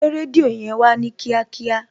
Gbé rédíò yẹn Wá ní kíákíá